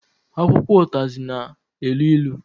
Akwụkwọ ụtazị na-elu ilu